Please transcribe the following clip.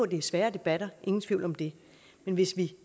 det er svære debatter ingen tvivl om det men hvis vi